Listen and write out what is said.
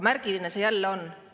Märgiline see jälle on.